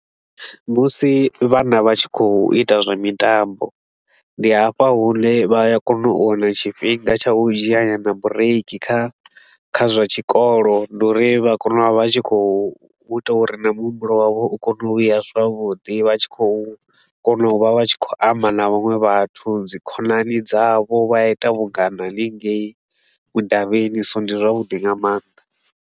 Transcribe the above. Musi vhana vha tshi khou ita zwa mitambo, ndi hafha hune vha ya kona u wana tshifhinga tsha u dzhia nyana bureiki kha kha zwa tshikolo. Ndi uri vha kona u vha vha tshi khou ita uri na muhumbulo wavho u kone u vhuya zwavhuḓi, vha tshi khou kona u vha vha tshi khou amba na vhaṅwe vhathu, dzi khonani dzavho, vha ita vhungana hanengei mudavhini, so ndi zwavhuḓi nga maanḓa